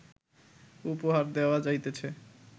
উপহার দেওয়া যাইতেছে